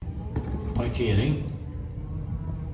parkering